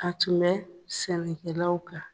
A tun bɛ sɛnɛkɛlaw kan.